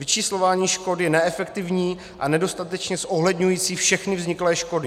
Vyčíslování škod je neefektivní a nedostatečně zohledňující všechny vzniklé škody.